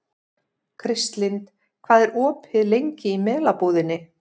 Kristlind, hvað er opið lengi í Melabúðinni?